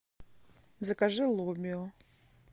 закажи лобио